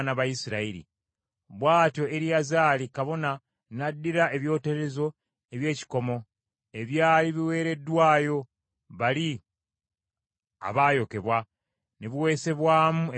Bw’atyo Eriyazaali kabona n’addira ebyoterezo eby’ekikomo, ebyali biweereddwayo bali abaayokebwa, ne biweesebwamu ebibikka ku kyoto,